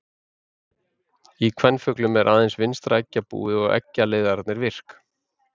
Í kvenfuglum eru aðeins vinstra eggjabúið og eggjaleiðararnir virk.